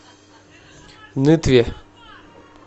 нытве